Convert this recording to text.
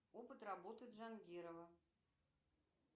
опыт работы джангирова